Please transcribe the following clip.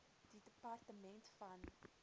die departement van